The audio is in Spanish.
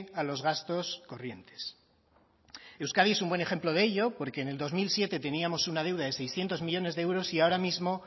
a los gastos corrientes euskadi es un buen ejemplo de ello porque en el dos mil siete teníamos una deuda de seiscientos millónes de euros y ahora mismo